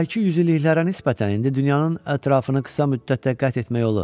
Əvvəlki yüzilliklərə nisbətən indi dünyanın ətrafını qısa müddətdə qət etmək olur.